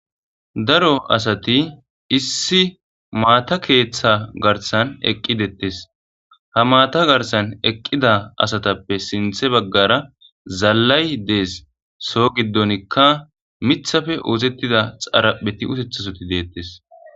daro asati issi maata keeththa garsan eqqidettes ha maata garsan eqqida asatappe sinthe baggara zallay dees so giddonikka mithafe oozettida xarapheti utethasoti deettes